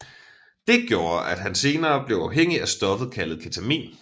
Det gjorde at han senere blev afhængig af stoffet kaldt Ketamin